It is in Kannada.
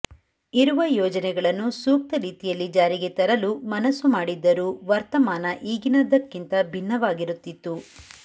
ಇರುವ ಯೋಜನೆಗಳನ್ನು ಸೂಕ್ತ ರೀತಿಯಲ್ಲಿ ಜಾರಿಗೆ ತರಲು ಮನಸ್ಸು ಮಾಡಿದ್ದರೂ ವರ್ತಮಾನ ಈಗಿನದ್ದಕ್ಕಿಂತ ಭಿನ್ನವಾಗಿರುತ್ತಿತ್ತು